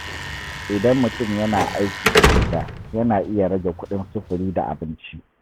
Idan mutum yana aiki daga gida, yana iya rage kuɗin sufuri da abinci.